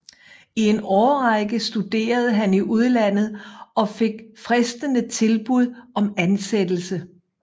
I en årrække studerede han i udlandet og fik fristende tilbud om ansættelse